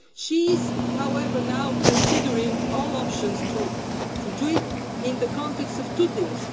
She is, however, now considering all options to do it in the context of two things.